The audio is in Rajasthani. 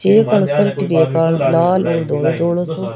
शर्ट रखी है लाल और धोडो धोडो सो --